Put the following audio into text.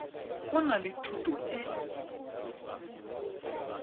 o na le thuto e